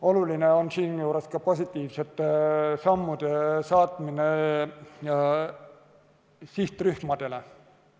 Oluline on ka positiivsete signaalide saatmine sihtrühmadele.